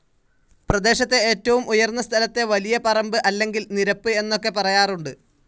പ്രദേശത്തെ ഏറ്റവും ഉയർന്ന സ്ഥലത്തെ വലിയ പറമ്പ് അല്ലെങ്കിൽ നിരപ്പ് എന്നൊക്കെ പറയാറുണ്ട്.